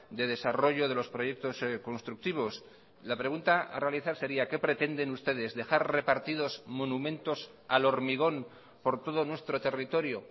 de desarrollo de los proyectos constructivos la pregunta a realizar sería qué pretenden ustedes dejar repartidos monumentos al hormigón por todo nuestro territorio